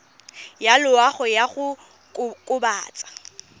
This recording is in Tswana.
ya loago ya go kokobatsa